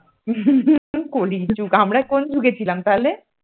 কলি যুগ আমরা কোন যুগে ছিলাম তাহলে?